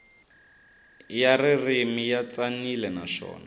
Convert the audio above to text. ya ririmi ya tsanile naswona